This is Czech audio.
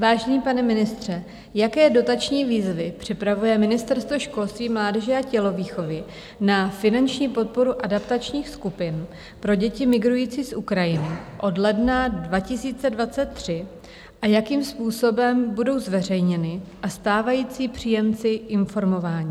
Vážený pane ministře, jaké dotační výzvy připravuje Ministerstvo školství, mládeže a tělovýchovy na finanční podporu adaptačních skupin pro děti migrující z Ukrajiny od ledna 2023 a jakým způsobem budou zveřejněny a stávající příjemci informováni?